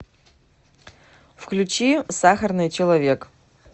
включи сахарный человек